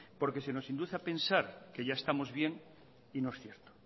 porque se nos induce a pensar que ya estamos bien y no es cierto